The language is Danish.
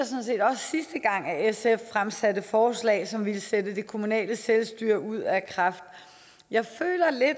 set også sidste gang sf fremsatte forslag som ville sætte det kommunale selvstyre ud af kraft jeg føler lidt at